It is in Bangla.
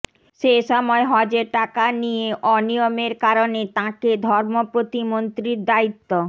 সে সময় হজের টাকা নিয়ে অনিয়মের কারণে তাঁকে ধর্ম প্রতিমন্ত্রীর দায়িত্ব